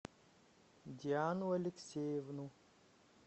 диану алексеевну